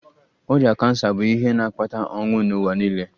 Ọrịa kansa bụ ihe na-akpata ọnwụ n'ụwa niile.